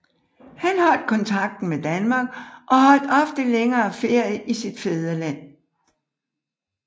Han holdt kontakten med Danmark og holdt ofte længere ferier i sit fædreland